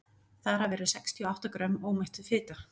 þar af eru sextíu og átta grömm ómettuð fita